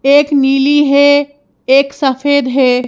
एक नीली है एक सफेद है।